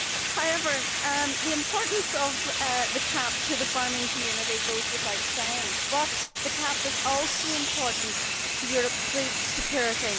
However, while the importance of the CAP to the farming community goes without saying, the CAP is also important to Europeʼs food security.